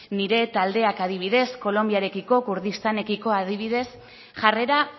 nire taldeak adibidez kolonbiarekiko kurdistanekiko adibidez jarrera